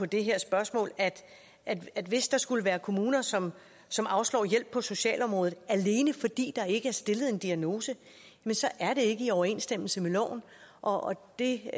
det her spørgsmål at at hvis der skulle være kommuner som som afslår hjælp på socialområdet alene fordi der ikke er stillet en diagnose så er det ikke i overensstemmelse med loven og det